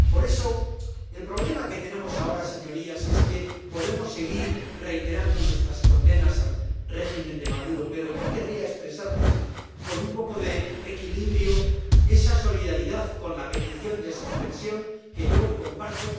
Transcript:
Por eso, el problema que tenemos ahora, señorías, es que podemos seguir reiterando nuestras condenas al régimen de Maduro, pero yo querría expresarles con un poco de equilibrio esa solidaridad con la petición de suspensión que yo comparto.